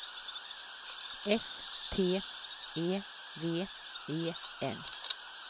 S T E V E N